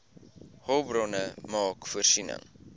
hulpbronne maak voorsiening